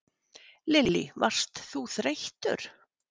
Lillý: Varst þú þreyttur?